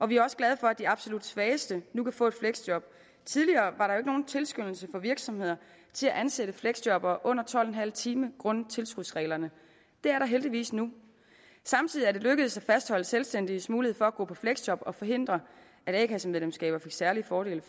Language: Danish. vi er også glade for at de absolut svageste nu kan få et fleksjob tidligere var ikke nogen tilskyndelse for virksomhederne til at ansætte fleksjobbere under tolv en halv time grundet tilskudsreglerne det er der heldigvis nu samtidig er det lykkedes at fastholde selvstændiges mulighed for at gå på fleksjob samt at forhindre at a kasse medlemskab gav særlige fordele